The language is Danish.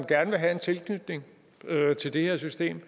gerne vil have en tilknytning til det her system